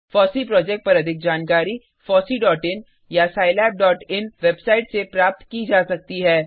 FOSSEE project पर अधिक जानकारी fosseeइन या scilabइन वेबसाइट से प्राप्त की जा सकती है